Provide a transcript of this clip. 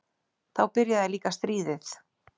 Þá byrjaði líka stríðið.